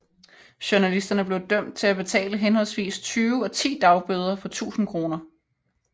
Journalisterne blev dømt til at betale henholdsvis 20 og 10 dagbøder på 1000 kroner